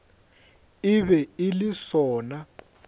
e be e le sona